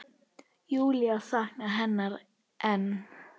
Júlía saknar hennar enn.